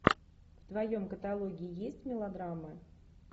в твоем каталоге есть мелодрамы